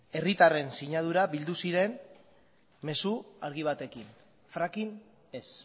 herritarren sinadura bildu ziren mezu argi batekin fracking ez